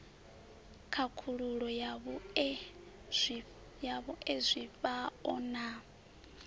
khakhululo ya vhue zwifhao na